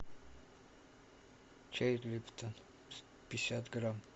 чай липтон пятьдесят грамм